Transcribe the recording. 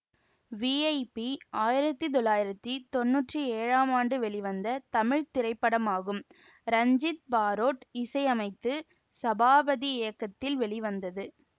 VIP ஆயிரத்தி தொள்ளாயிரத்தி தொன்னூற்தி ஏழாம் ஆண்டு வெளிவந்த தமிழ் திரைப்படமாகும் ரஞ்சித் பாரொட் இசை அமைத்து சபாபதி இயக்கத்தில் வெளி வந்தது